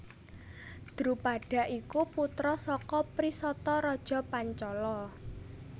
Drupada iku putra saka Prisata raja Pancala